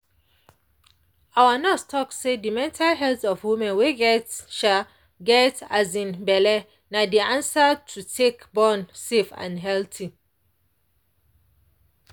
our nurse talk say the mental health of woman wey get um get um belle na de answer to take born safe and healthy